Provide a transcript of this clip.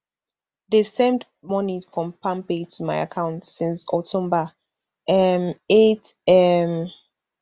dem send money from palmpay to my account since october um eight um